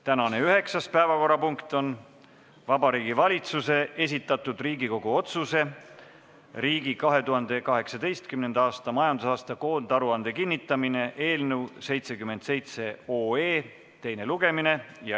Tänane üheksas päevakorrapunkt on Vabariigi Valitsuse esitatud Riigikogu otsuse "Riigi 2018. aasta majandusaasta koondaruande kinnitamine" eelnõu 77 teine lugemine.